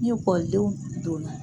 N'i lakɔli denw donna